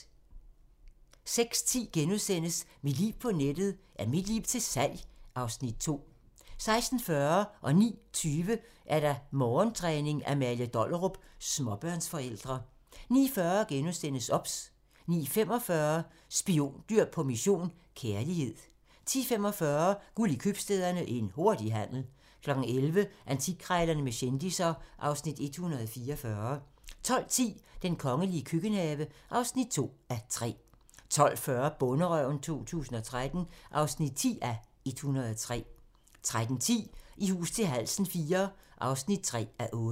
06:10: Mit liv på nettet: Er mit liv til salg? (Afs. 2)* 06:40: Morgentræning: Amalie Dollerup - småbørnsforældre 09:20: Morgentræning: Amalie Dollerup - småbørnsforældre 09:40: OBS * 09:45: Spiondyr på mission - kærlighed 10:45: Guld i købstæderne - en hurtig handel 11:00: Antikkrejlerne med kendisser (Afs. 144) 12:10: Den kongelige køkkenhave (2:3) 12:40: Bonderøven 2013 (10:103) 13:10: I hus til halsen IV (3:8)